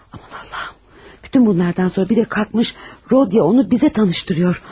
Aman Allahım, bütün bunlardan sonra bir də qalxmış Rodiya onu bizə tanışdırır.